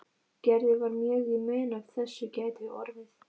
Gerði var mjög í mun að af þessu gæti orðið.